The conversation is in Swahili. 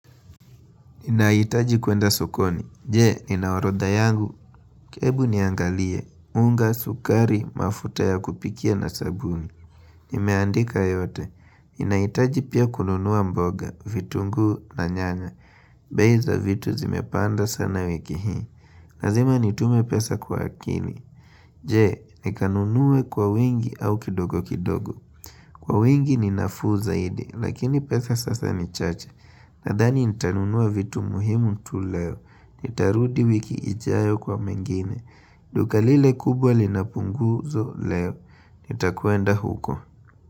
Ninahitaji kuenda sokoni. Je, ninaorodha yangu. Hebu niangalie. Unga, sukari, mafuta ya kupikia na sabuni. Nimeandika yote. Ninahitaji pia kununua mboga, vitunguu na nyanya. Bei za vitu zimepanda sana wiki hii. Lazima nitume pesa kwa makini Je, nikanunue kwa wingi au kidogo kidogo. Kwa wingi ni nafuu zaidi, lakini pesa sasa ni chache. Nadhani nitanunua vitu muhimu tu leo. Nitarudi wiki ijayo kwa mengine. Duka lile kubwa linapunguzo leo. Nitakuenda huko.